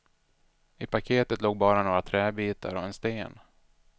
I paketet låg bara några träbitar och en sten.